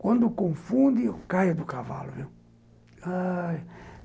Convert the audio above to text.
Quando confunde, eu caio do cavalo, viu, ai...